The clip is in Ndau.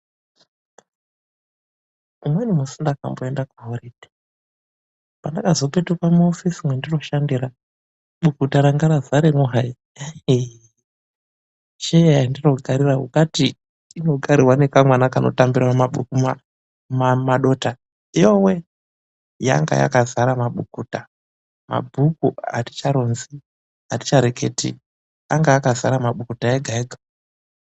Umweni musi ndakamboende kuhoridheyi, pandakazopetuka muofisi mwendinoshandira, bukuta ranga radzaremo hai, ehee, chituru chandinogarira inga yaita ingateyi inogarwa ngekamwana kanotambire mumadota, yowee, yanga yakadzare mabukuta, mabhuku aticharonzi hedu, atichareketi, anga akadzare mabukuta ega ega.